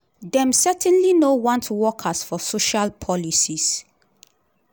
dem certainly no want ‘wokers’ for social policies."